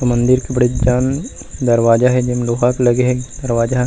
मंदिर के बड़ेकजन दरवाजा हे जो लोहा के लगे हे दरवाजा--